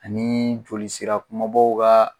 Ani jolisira kunbabaw ka